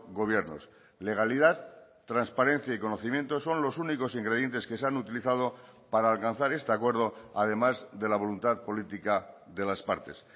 gobiernos legalidad transparencia y conocimiento son los únicos ingredientes que se han utilizado para alcanzar este acuerdo además de la voluntad política de las partes